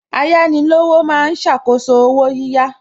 Ayánilówó ma ń ṣàkóso owó yíyá